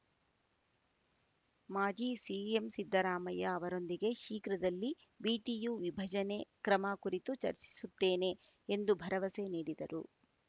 ಮಾಜಿ ಸಿಎಂ ಸಿದ್ದರಾಮಯ್ಯ ಅವರೊಂದಿಗೆ ಶೀಘ್ರದಲ್ಲಿ ವಿಟಿಯು ವಿಭಜನೆ ಕ್ರಮ ಕುರಿತು ಚರ್ಚಿಸುತ್ತೇನೆ ಎಂದು ಭರವಸೆ ನೀಡಿದರು